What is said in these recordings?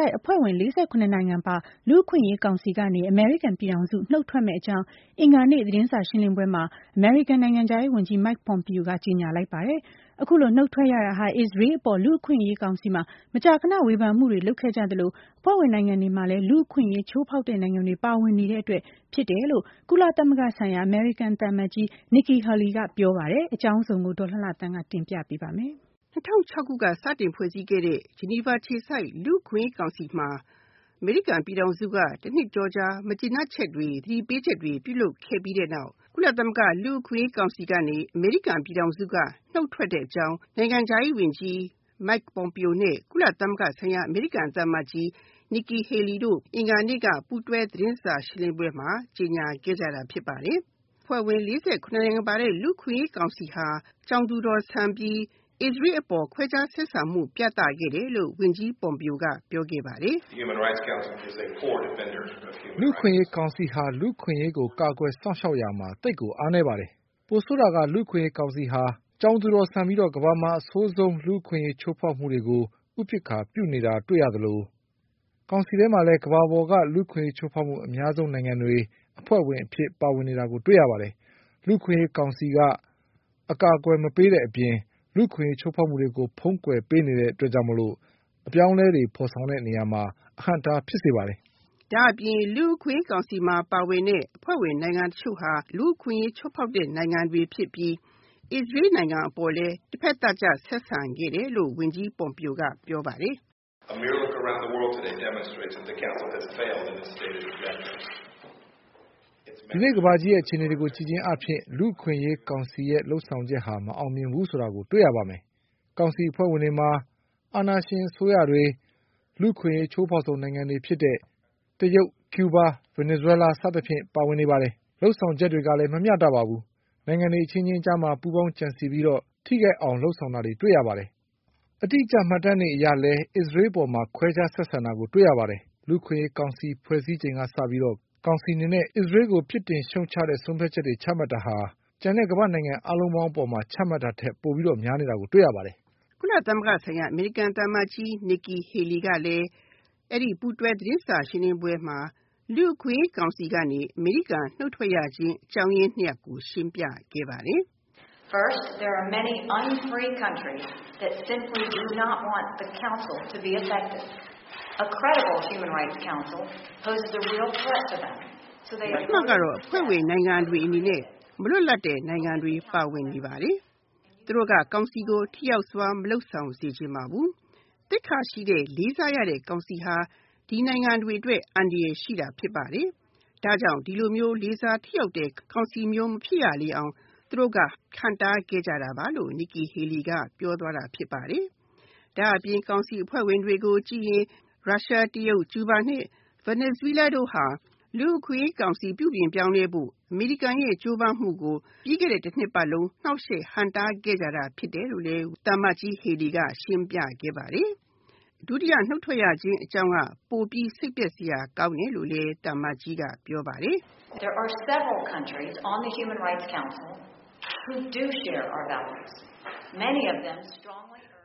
ိုက်အဖွဲ့ဝင် ၄၇ နိုင်ငံပါဝင်တဲ့ လူ့အခွင့်အရေးကောင်စီကနေ အမေရိကန်ပြည်ထောင်စု နုတ်ထွက်မယ့်အကြောင်း အင်္ဂါနေ့ သတင်းစာရှင်းလင်းပွဲမှာ အမေရိကန်နိုင်ငံခြားရေးဝန်ကြီး Mike Pompeo ကကြေညာလိုက်ပါတယ်။ အခုလိုနုတ်ထွက်ရတာဟာ အစ္စရေးအပေါ် လူ့အခွင့်အရေးကောင်စီမှာ မကြာခဏ ဝေဖန်မှုတွေ လုပ်ခဲ့ကြသလို အဖွဲ့ဝင်နိုင်ငံတွေမှာလည်း လူ့အခွင့်အရေးချိုးဖောက်တဲ့ နိုင်ငံတွေ ပါဝင်နေတဲ့အတွက်ဖြစ်တယ်လို့ ကုလသမဂ္ဂဆိုင်ရာ အမေရိကန်သံအမတ်ကြီး Nikki Haley က ပြောပါတယ်။ အကြောင်းစုံကို ဒေါ်လှလှသန်းက ဆက်ပြောပြမှာပါ။ ၂၀၁၆ ခုနှစ်ကဖွဲ့စည်းခဲ့တဲ့ Geneva အခြေစိုက် လူ့အခွင့်အရေးကောင်စီမှာ အမေရိကန် ပြည်ထောင်စုက တနှစ်ကျော်ကြာ မကျေနပ်ချက်တွေ သတိပေးချက်တွေ ပြုလုပ်ခဲ့ပြီးတဲ့နောက် ကုလသမဂ္ဂလူ့အခွင့်အရေးကောင်စီကနေ အမေရိကန် ပြည်ထောင်စုက နုတ်ထွက်တဲ့အကြောင်း နိုင်ငံခြားရေးဝန်ကြီး Mike Pompeo နဲ့ ကုလသမဂ္ဂဆိုင်ရာ အမေရိကန်သံအမတ်ကြီး Nikki Haley တို့ အင်္ဂါနေ့က ပူးတွဲသတင်းစာရှင်းလင်းပွဲမှာ ကြေညာခဲ့ပါတယ်။ အဖွဲ့ဝင် ၄၇ နိုင်ငံပါတဲ့ လူ့အခွင့်အရေးကောင်စီဟာ ကြောင်သူတော်ဆန်ပြီး အစ္စရေးအပေါ် ခွဲခြားဆက်ဆံမှု ပြသခဲ့တယ်လို့ ဝန်ကြီး Pompeo က ပြောခဲ့ပါတယ်။ “လူ့အခွင့်အရေးကောင်စီဟာ လူ့အခွင့်အရေးကိုကာကွယ်စောင့်ရှောက်ရာမှာ သိပ်ကိုအားနည်းပါတယ်။ ပိုဆိုးတာက လူ့အခွင့်အရေးကောင်စီဟာ ကြောင်သူတော်ဆန်ပြီး ကမ္ဘာမှာအဆိုးဆုံး လူ့အခွင့်အရေးချိုးဖောက်မှုတွေကို ဥပက္ခာပြုနေတာတွေ့ရသလို ကောင်စီထဲမှာလည်း ကမ္ဘာပေါ်က လူ့အခွင့်အရေးချိုးဖောက်မှု အများဆုံးနိုင်ငံတွေ အဖွဲ့ဝင်အဖြစ်ပါဝင်နေတာကို တွေ့ရပါတယ်။ လူ့အခွင့်အရေးကောင်စီက အကာအကွယ်မပေးတဲ့အပြင် လူ့အခွင့်အရေးချိုးဖောက်မှုတွေကို ဖုံးကွယ်ပေးနေတဲ့အတွက်ကြောင့် အပြောင်းအလဲတွေဖော်ဆောင် တဲ့နေရာမှာ အဟန့်အတားဖြစ်စေပါတယ်။” ဒါ့အပြင် လူ့အခွင့်အရေးကောင်စီမှာ ပါဝင်တဲ့ အဖွဲ့ဝင်နိုင်ငံတချို့ဟာ လူ့အခွင့်အရေးချိုးဖောက်တဲ့ နိုင်ငံတွေဖြစ်ပြီး အစ္စရေးနိုင်ငံအပေါ် တဖက်သတ်ဆက်ဆံခဲ့တယ်လို့ ဝန်ကြီး Pompeo က ပြောခဲ့ပါတယ်။ “ဒီနေ့ကမ္ဘာကြီးအခြေအနေတွေကို ကြည့်ခြင်းအားဖြင့် လူ့အခွင့်အရေးကောင်စီလုပ်ဆောင်ချက်ဟာ မအောင်မြင်ဘူးဆိုတာကို တွေ့ရပါမယ်။ ကောင်စီအဖွဲ့ဝင်တွေမှာ အာဏာရှင်အစိုးရတွေ လူ့အခွင့်အရေးချိုးဖောက်မှုအများဆုံးနိုင်ငံဖြစ်တဲ့ တရုတ်၊ ကျူးဘား၊ ဗင်နီဇွဲလား စသဖြင့်ပါဝင်နေပါတယ်။ လုပ်ဆောင်ချက်တွေကလည်း မမျှတပါဘူး။ နိုင်ငံတွေအချင်းချင်းကြားမှာ ပူးပေါင်းကြံစည်ပြီးတော့ ထိခိုက်အောင်လုပ်ဆောင်တာတွေ တွေ့ရပါတယ်။ အတိအကျမှတ်တမ်းတွေအရလည်း အစ္စရေးနိုင်ငံအပေါ်မှာ ခွဲခြားဆက်ဆံတာကို တွေ့ရပါတယ်။ လူ့အခွင့်အရေးကောင်စီဖွဲ့စည်းချိန်က စပြီးတော့ ကောင်စီအနေနဲ့ အစ္စရေးကို ပြစ်တင်ရှုတ်ချတဲ့ ဆုံးဖြတ်ချက်တွေ ချမှတ်တာဟာ ကျန်တဲ့ ကမ္ဘာ့နိုင်ငံတွေအားလုံး အပေါ်မှာ ချမှတ်တာထက် ပိုပြီးတော့ များနေတာကို တွေ့ရပါတယ်။" ကုလသမဂ္ဂဆိုင်ရာ အမေရိကန်သံအမတ်ကြီး Nikki Haley ကလည်း အဲဒီပူးတွဲသတင်းစာရှင်းလင်းပွဲမှာ လူ့အခွင့်အရေးကောင်စီကနေ အမေရိကန် နုတ်ထွက်ရတဲ့အကြောင်းအရင်း ၂ ရပ်ကို ရှင်းပြပါတယ်။ “ ပထမကတော့ အဖွဲ့ဝင်နိုင်ငံတွေအနေနဲ့ မလွတ်လပ်တဲ့ နိုင်ငံတွေ ပါဝင်နေပါတယ်။ သူတို့က ကောင်စီကို ထိရောက်စွာ မလုပ်ဆောင်စေချင်ပါဘူး။ သိက္ခာရှိတဲ့၊ လေးစားရတဲ့ ကောင်စီဟာ ဒီနိုင်ငံတွေအတွက် အန္တရာယ်ရှိတာဖြစ်ပါတယ်။ ဒါကြောင့် ဒီလိုမျိုးလေးစားထိရောက်တဲ့ ကောင်စီမျိုး မဖြစ်ရအောင် သူတို့က ဟန့်တားခဲ့ကြတာပါ”လို့ Nikki Haley က ပြောသွားပါတယ်။ ဒါ့အပြင် ကောင်စီအဖွဲ့ဝင်တွေကို ကြည့်ရင် ရုရှား ၊ တရုတ်၊ ကျူးဘား နဲ့ ဗင်နီဇွဲလားတို့ဟာ လူ့အခွင့်အရေးကောင်စီပြုပြင်ပြောင်းလဲဖို့ အမေရိကန်ရဲ့ ကြိုးပမ်းမှုကို ပြီးခဲ့တဲ့ တ နှစ်ပတ်လုံး နှောက်ယှက်ဟန့်တားခဲ့တာဖြစ်တယ်လို့ ရှင်ပြခဲ့ပါတယ်။ ဒုတိယနုတ်ထွက်ရခြင်းအကြောင်းက ပိုပြီးစိတ်ပျက်စရာကောင်းတယ်လို့ သူကပြောပါတယ်။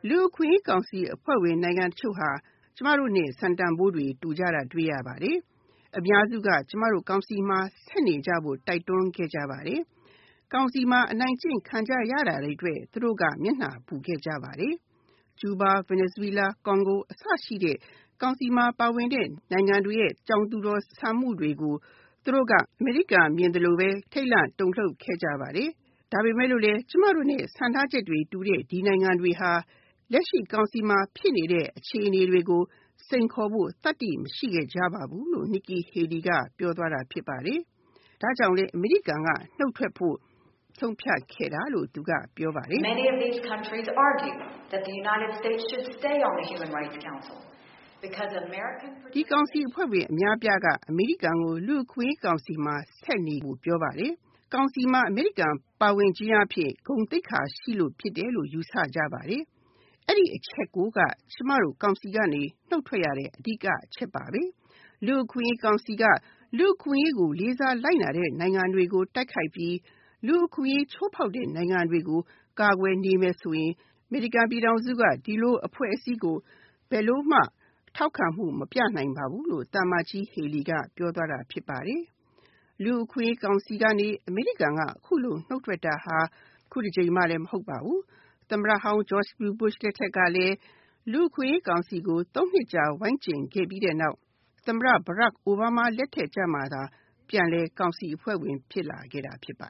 “လူ့အခွင့်အရေးကောင်စီအဖွဲ့ဝင်နိုင်ငံတချို့ဟာ ကျမတို့နဲ့ စံတန်ဖိုးတွေ တူတာတွေ့ရပါတယ်။ အများစုက ကျမတို့ကောင်စီမှာ ဆက်နေဖို့ တိုက်တွန်းခဲ့ပါတယ်။ ကောင်စီမှာ အနိုင်ကျင့်ခံကြရတာတွေအတွက် သူတို့က မျက်နှာပူခဲ့ကြပါတယ်။ ကျူးဘား နဲ့ ဗင်နီဇွဲလား၊ ကွန်ဂို အစရှိတဲ့ ကောင်စီမှာပါဝင်တဲ့ နိုင်ငံတွေရဲ့ ကြောင်သူတော်ဆန်မှုတွေကို သူတို့က အမေရိကန်မြင်သလိုပဲ ထိတ်လန့်တုန်လှုပ်ခဲ့ကြပါတယ်။ ဒါပေမယ့် ကျမတို့နဲ့ စံထားချက်တွေတူတဲ့ ဒီနိုင်ငံတွေဟာ လက်ရှိကောင်စီမှာဖြစ်နေတဲ့အခြေအနေတွေကို စိန်ခေါ်ဖို့ သတ္တိမရှိခဲ့ကြပါဘူး။” လို့ Nikki Haley က ပြောသွားပါတယ်။ ဒါကြောင့် အမေရိကန် ပြည်ထောင်စုက နုတ်ထွက်ခဲ့တာလို့ ပြောပါတယ်။ ဒီကောင်စီအဖွဲ့ဝင်အများအပြားက အမေရိကန်ကို လူ့အခွင့်အရေးကောင်စီမှာဆက်နေဖို့ပြောပါတယ်။ ကောင်စီမှာ အမေရိကန် ပါဝင်ခြင်းအားဖြင့် ဂုဏ်သိက္ခာရှိတယ်လို့ ယူဆကြပါတယ်။ အဲဒီအချက်ကိုက ကျမတို့ ကောင်စီကနေ နုတ်ထွက်ရတဲ့ အဓိကအချက်ဖြစ်တယ်။ လူ့အခွင့်အရေးကောင်စီက လူ့အခွင့်အရေးကိုလေးစားလိုက်နာတဲ့ နိုင်ငံတွေကို တိုက်ခိုက်ပြီး လူ့အခွင့်အရေးချိုးဖောက်တဲ့နိုင်ငံတွေကို ကာကွယ်နေမယ်ဆိုရင် အမေရိကန်ပြည်ထောင်စုက ဒီလိုအဖွဲ့အစည်းကို ဘယ်လိုမှ ထောက်ခံမှုမပြနိုင်ပါဘူး။” လို့ Nikki Haley က ပြောသွားပါတယ်။ လူ့အခွင့်အရေးကောင်စီကနေ အမေရိကန်အခုလို နုတ်ထွက်တာ အခုတကြိမ်မှမဟုတ်ပါဘူး။ သမ္မတဟောင်း George W Bush လက်ထက်ကလည်း လူ့အခွင့်အရေးကောင်စီကို ၃ နှစ်ကြာ ဝိုင်းကြဉ်ပြီးတဲ့နောက် သမ္မတ အိုဘားမားလက်ထက်ကြမှ ကောင်စီအဖွဲ့ဝင် ပြန်လည်ဖြစ်ခဲ့တာဖြစ်ပါ